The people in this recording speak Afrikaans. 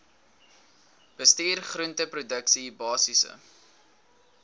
bestuur groenteproduksie basiese